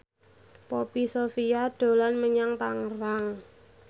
Poppy Sovia dolan menyang Tangerang